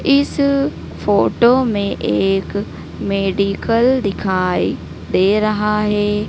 इस फोटो में एक मेडिकल दिखाई दे रहा है।